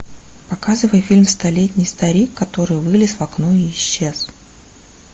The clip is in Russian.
показывай фильм столетний старик который вылез в окно и исчез